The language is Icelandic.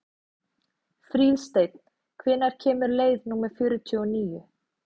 Fríðsteinn, hvenær kemur leið númer fjörutíu og níu?